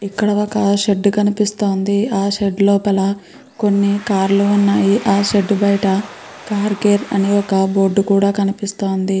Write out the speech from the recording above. ఇక్కడ ఒక్ షెడ్డు కనిపిస్తోంది. ఆ షేడ్ లోపల కొన్ని కార్ లు ఉన్నాయి. ఆ షెడ్డు బయట కార్ కేర్ అని ఒక బోర్డ్ కూడా కనిపిస్తోంది.